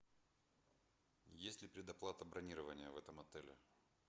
есть ли предоплата бронирования в этом отеле